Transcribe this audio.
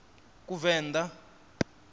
kuvenḓa